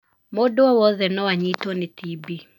Mũndũ o wothe no anyitwo nĩ TB.